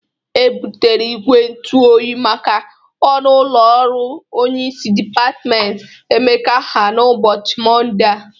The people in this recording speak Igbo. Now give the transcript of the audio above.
E bụtere igwe ntụ oyi make ọnụ ụlọ ọrụ onyeisi dịpatmentị Emeka ha n'ụbọchi mọnde a.